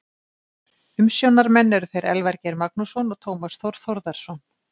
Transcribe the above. Umsjónarmenn eru þeir Elvar Geir Magnússon og Tómas Þór Þórðarson.